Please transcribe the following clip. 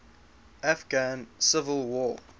afghan civil war